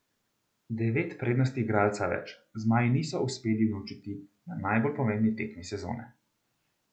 Devet prednosti igralca več zmaji niso uspeli unovčiti na najbolj pomembni tekmi sezone.